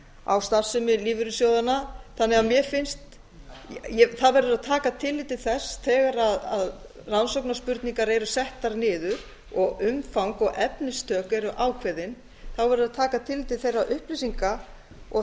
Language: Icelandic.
á starfsemi lífeyrissjóðanna það verður að taka tillit til þess þegar rannsóknarspurningar eru settar niður og umfang og efnistök eru ákveðin verður að taka tillit til þeirra upplýsinga og